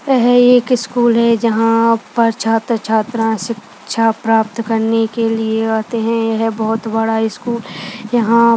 यह एक स्कूल है जहा पर छात्र छात्रा से शिक्षा प्राप्त करने के लिए आते है यह बोहत बड़ा स्कूल यहा --